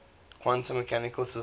quantum mechanical systems